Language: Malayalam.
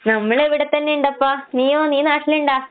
നമ്മളിവടത്തന്നെയിണ്ടപ്പാ. നീയോ നീ നാട്ടിലിണ്ടാ?